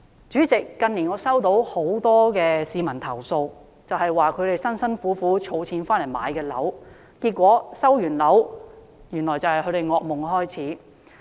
主席，近年我收到很多市民投訴，指他們辛苦儲錢買樓，結果收樓後惡夢便開始。